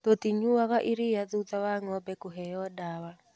Tũtinyuaga iria thutha wa ngombe kũheo ndawa.